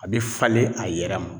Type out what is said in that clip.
A bi falen a yɛrɛ ma